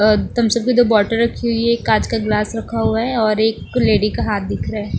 अ Thums Up की दो bottle रखी हुई है एक काँच का गिलास रखा हुआ है और एक लेडी का हाथ दिख रहा है।